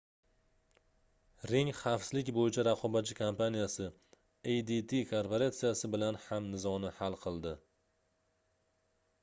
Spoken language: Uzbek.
ring xavfsizlik boʻyicha raqobatchi kompaniyasi adt korporatsiyasi bilan ham nizoni hal qildi